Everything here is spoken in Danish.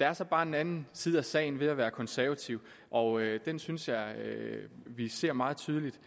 er så bare en anden side af sagen ved at være konservativ og den synes jeg vi ser meget tydeligt